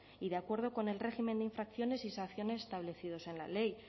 y de acuerdo con el régimen infracciones y sanciones establecidos en la ley